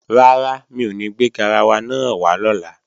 Rárá, mi ò ní gbé garawa náà wá lọ́la